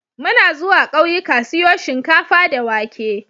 Muna zuwa ƙauyika siyo shinkafa da wake.